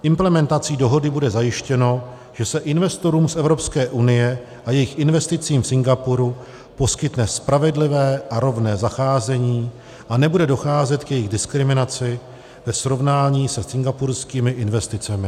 Implementací dohody bude zajištěno, že se investorům z Evropské unie a jejich investicím v Singapuru poskytne spravedlivé a rovné zacházení a nebude docházet k jejich diskriminaci ve srovnání se singapurskými investicemi.